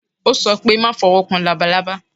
Ó sọ pé má fowó kan labalábá.